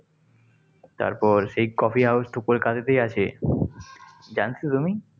তারপর সেই coffee house তো কলকাতাতেই আছে, জানতো তুমি?